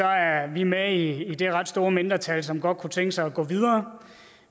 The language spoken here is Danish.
er vi med i det ret store mindretal som godt kunne tænke sig at gå videre